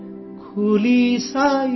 جھولے میں بھلا کیا ہے؟